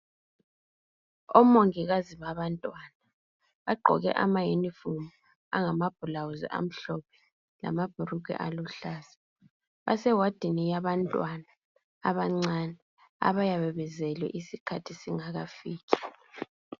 Omongikazi babantwana bagqoke amayunifomu ama blouse amhlophe lamabhulugwa aluhlaza ewadini yabantwana abancani abayabe bezelwe isikhathi singakakwani